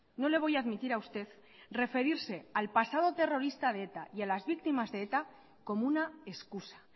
no le voy a admitir a usted referirse al pasado terrorista de eta y a las víctimas de eta como una excusa